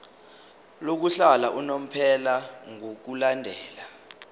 lokuhlala unomphela ngokulandela